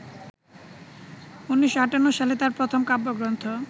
১৯৫৮ সালে তাঁর প্রথম কাব্যগ্রন্থ